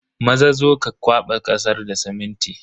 Maza, zo ka kwaba kasar da siminti.